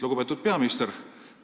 Lugupeetud peaminister!